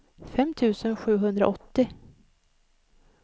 fem tusen sjuhundraåttio